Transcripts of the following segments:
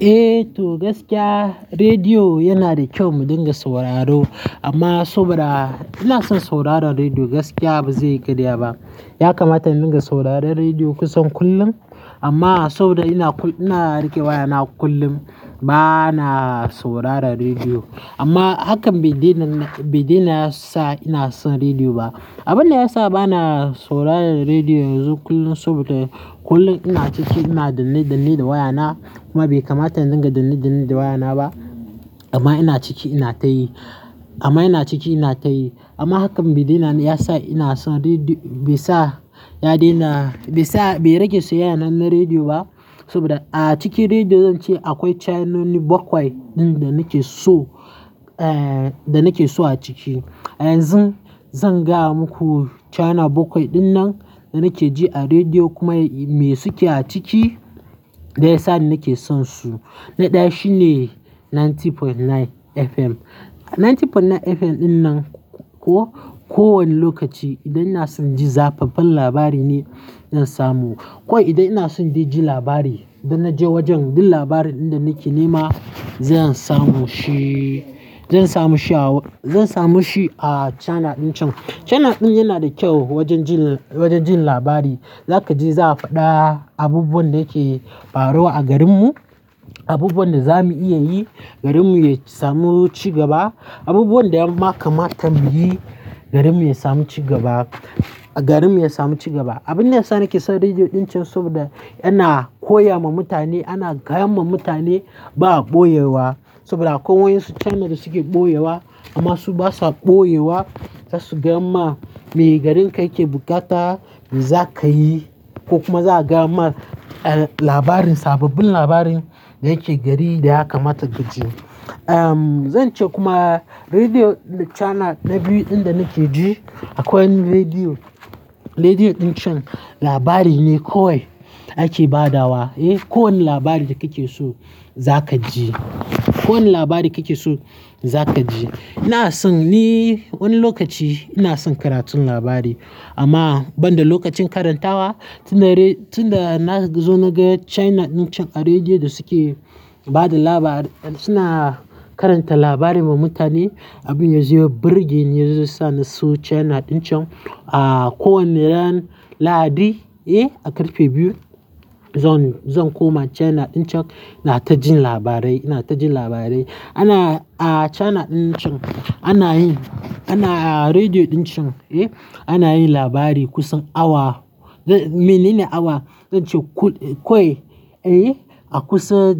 Eh to gaskiya rediyo yana da kyau mu dinga sauraro amma saboda ina son sauraron rediyo gaskiya ba zai karya ba. Ya kamata in dinga sauraron rediyo kusan kullum amma saboda ina kul-- ina riƙe wayana kullum bana sauraron rediyo. Amma hakan bai daina, bai dainaya sa ina son rediyo ba. Abin da ya sa bana sauraron rediyo yanzu kullum saboda kullum ina ciki ina danne-danne da wayana kuma bai kamata in dinga danne-danne da wayana ba amma ina ciki ina tayi, amma ina ciki ina tayi. Amma hakan bai daina ya sa ina son rediyo, bai sa ya daina, bai sa bai rage soyayyana na rediyo ba saboda a cikin rediyo zan ce akwai chenoni bakwai ɗin da nake so, eh, da nake so a ciki. Yanzun zan gaya muku channel bakwai dinnan da nake ji a rediyo kuma me suke a ciki da ya sa nake sonsu. Na ɗaya shine Ninety point nine FM. Ninety point nine FM dinnan ko, ko wani lokaci idan ina son ji zafafan labari ne zan samu. Ko idan ina son ji labari, idan na je wajen duk labarin da nake nema zan samu shi, zan samu shi aw-- zan samu shi a channel dinnan. Channel din yana da kyau wajen jin, wajen jin labari. Za ka je za ka faɗa abubuwan da yake faruwa a garinmu, abubuwan da za mu iya yi garinmu ya samu cigaba, abubuwan da ya ma kamata mu yi garinmu ya samu cigaba, garinmu ya samu cigaba. Abin da ya sa nake son rediyo dinnan saboda yana koya ma mutane, yana gaya ma mutane ba a ɓoyewa saboda akwai wayansu channel da suke ɓoyewa amma su basa ɓoyewa. Za su gaya ma me garin ka yake bukata me za ka yi ko kuma za a gaya mar labarin, sababbin labarin da yake gari da ya kamata ka ji. Uhm, zan ce kuma rediyo channel na biyu ɗin da nake ji akwai rediyo, rediyo dinnan labari ne kawai ake ba da wa. Eh, kowane labari da kake so za ka ji. Kowane labari kake so za ka ji. Ina son ni wani lokaci ina son karatun labari amma ban da lokacin karantawa. Tun da red-- tun da na zo na ga channel dinnan a rediyo da suke bada labari, suna karanta labari ma mutane. Abin ya zuzo birge ni, ya zoyasa na so channel dinnan. A kowane ran lahadi, eh, a ƙarfe biyu zan, zan koma channel dinnan ina ta jin labarai, ina ta jin labarai. Ana a channel dincan ana yin, ana a rediyo dincan, eh, ana yin labari kusan awa, mini ne awa. Zan ce kul-- kawai, eh, a kusa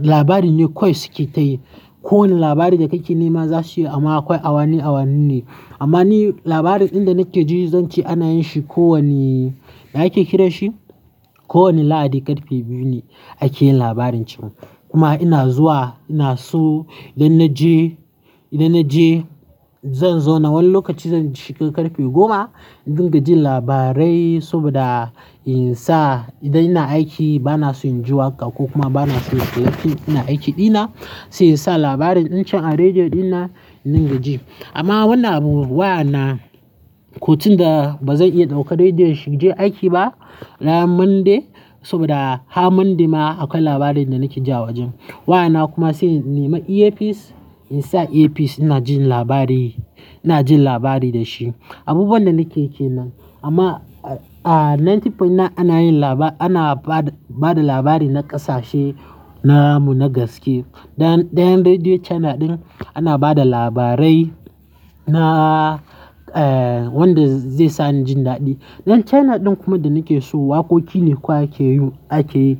labari ne kawai suke tayi. Ko wani labari da kake nema za su yi amma akwai awani awani ne. Amma ni labarin ɗin da nake ji zan ce ana yin shi ko wani, ya ake kira shi ko wani lahadi ƙarfe biyu ne ake yin labarin can. Kuma ina zuwa ina so idan na je, idan na je zan zo na wani lokaci zan shiga ƙarfe goma in dinga jin labarai saboda in sa idan ina aiki bana son inji waƙa ko kuma bana son inga film ina aiki dina sai in sa labarin dincan a rediyo dinnan indinga ji. Amma wannan wayana kotun da ba zan iya dauka rediyon shi inje aiki ba ran Monday saboda har Monday ma akwai labarin da nake ji awajen. Wayana kuma sai in nema ear piece in sa ear piece ina jin labari, ina jin labari da shi. Abubuwan da nakeyi ke nan amma a Ninety point nine ana yin laba-- ana ba da, ba da labari na ƙasashe namu na gaske. Dan, dan rediyo channel din ana ba da labarai na, eh, wanda zai sa ni jin daɗi. Dan channel din kuma da nake so waƙoƙi ne kawai ake yi, ake yi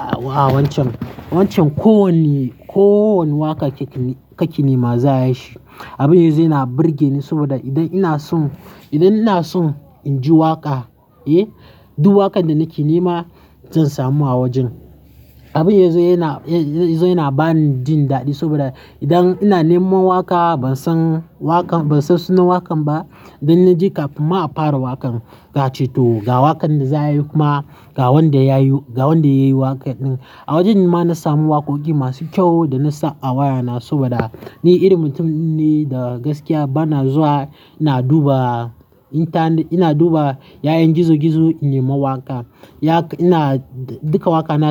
a wancan, wancan ko wanni, ko wani waƙa ka ki nema za a yi shi. Abin ya zo yana birge ni saboda idan ina son, idan ina son in ji waƙa, eh, duk waƙan da nake nema zan samu a wajen. Abin ya zo yana, ya zo yana ba ni jin daɗi saboda idan ina nema waƙa ban san waƙan, ban san sunan waƙan ba, idan na je kafin ma a fara waƙan da ace to ga waƙan da za a yi kuma ga wanda yayi, ga wanda yayi waƙan din. A wajen ma na samu waƙoƙi masu kyau da na sa a wayana saboda ni irin mutum ne da gaskiya bana zuwa ina duba intanet, ina duba yanan gizo-gizo in nema waƙa. Dan haka ina dukka waƙa na.